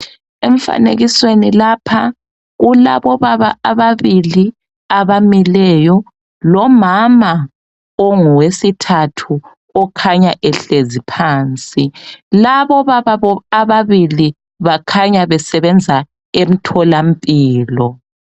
Emfanekisweni lapha kulabobaba ababili abamileyo, lomama ongowesithathu okhanya ehlezi phansi, labobabo ababili bakhanya basebenza emtholampilo.